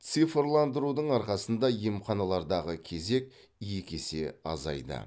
цифрландырудың арқасында емханалардағы кезек екі есе азайды